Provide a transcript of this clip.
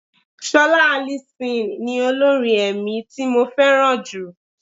Ṣọlá Alison ni olórin ẹ̀mí tí mo fẹ́ràn jù.